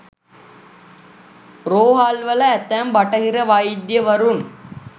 රෝහල්වල ඇතැම් බටහිර වෛද්‍යවරුන්